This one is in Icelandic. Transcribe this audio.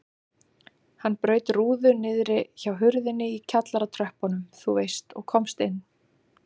Hann braut rúðu niðri hjá hurðinni í kjallaratröppunum þú veist og komst inn.